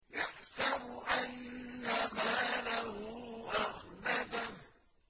يَحْسَبُ أَنَّ مَالَهُ أَخْلَدَهُ